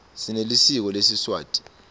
sinelisiko lesiswati